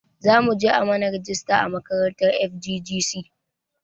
Zamuje a mana rajista a makarantar FGGC